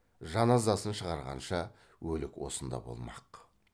жаназасын шығарғанша өлік осында болмақ